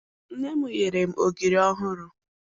Nne m nyere m ogiri ọhụrụ